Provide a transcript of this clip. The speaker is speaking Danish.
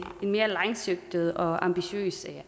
mere langsigtet og ambitiøs